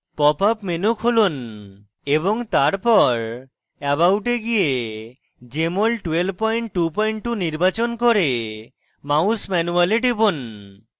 pop up menu খুলুন এবং তারপর about এ গিয়ে jmol 1222 নির্বাচন করে mouse manual এ টিপুন